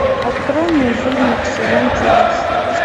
открой мне фильмик сезон чудес